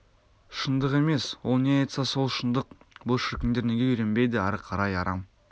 шындық емес ол не айтса сол шындық бұл шіркіндер неге үйренбейді ары қарай арам